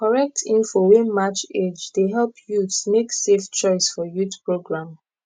correct info wey match age dey help youths make safe choice for youth program